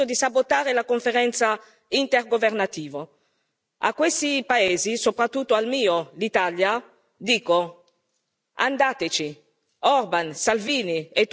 Troppi gli Stati membri che hanno deciso di sabotare la conferenza intergovernativa a questi paesi, soprattutto al mio, l'Italia, dico andateci!